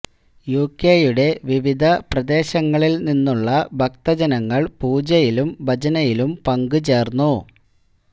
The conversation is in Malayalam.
യുകെയുടെ വിവിധ പ്രദേശംങ്ങളിൽ നിന്നുള്ള ഭക്ത ജനങ്ങൾ പൂജയിലും ഭജനയിലും പങ്കുചേർന്നു